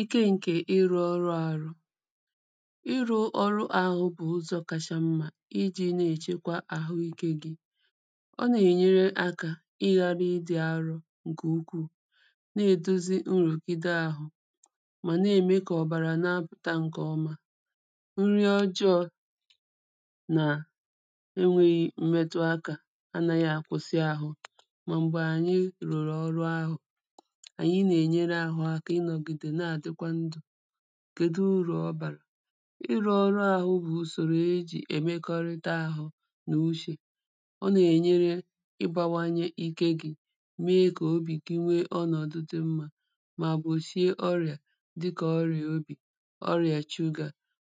ịke ṅkè ị rū ọru a ru ị rū ọru āhū bù uzọ̄ kachammā i jē na è chekwa àhu ikē gī ọ nà è nyere akā i rārū idī ārū ṅkè ụkwụ̀ na è dozi uru kà i di ahu mà na è me kà ọ̀bàrà na pùta ǹkè ọma nri ọjọ̄ nà e nwēhị̄ mmẹtu akā anāhī à kwụsị āhū mà m̀gbè ànyi rùrù ọru ahù ànyi nà è nyere ārū ākā i nọ̀gìdè na à dikwa ndụ̀ kèdu urù ọ bàrà i rū ọru āhū bù ùsòrò e jì è mekọrita āhū nà uchè ọ nà è nyere i bāwānyē ike gī me kà ọbị̀ gi new ọnọ̀du dī mmā mà gwòshie ọrìà dikà ọrìà obì ọrìà chugà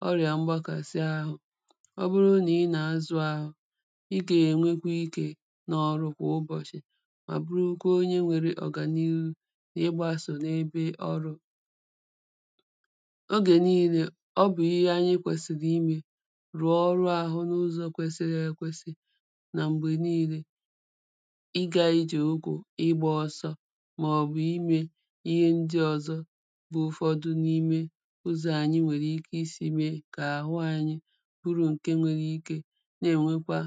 ọrìà mgbakasai āhū ọbru nà i nà a zu āhū i gè nwekwa ikē na ọru kwà ubọ̀shì à burukwa onye nwērē ọ̀gàniru nà i gbasò n'ebe ọrū ogè nilē ọ bù ihe anyi kwèsìrì i mē rùọ ru āhū nà uzọ̄ kwẹsiri ẹ kwẹsi nà m̀gbè nilē ị gā ijè ogō i gbā ọsọ mà ọ̀ bù i mē ihe ndi ọ̀zọ bu ufọdu nime uzọ̀ ànyi nwèrè ike i sī mē kà àhu ānyī buru ǹke nwẹrẹ ike na è nwekwa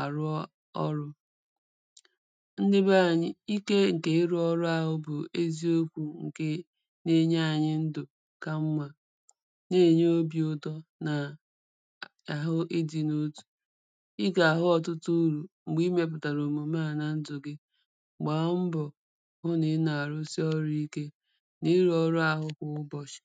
àru ọ ọrū ndi be ānyī ike ǹkè irū ọru āhū bù eziokwū ǹkè na e nye ānyī ndù ka mmā na è nye obī ūtọ̄ nà àhu idī notù i gà hu ọ̀utu urù m̀gbè i mēpùtàrà òmùme à nà ndù gi gbà mbọ̀ hu nà i nà rusi ọrū ike nà i rū ọru āhū pù ubọ̀shì